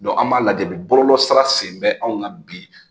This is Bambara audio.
an b'a lajɛ bɔlolɔsira sen bɛ anw kan bi